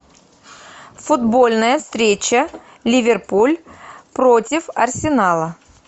футбольная встреча ливерпуль против арсенала